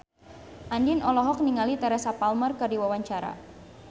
Andien olohok ningali Teresa Palmer keur diwawancara